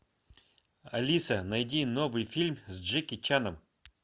алиса найди новый фильм с джеки чаном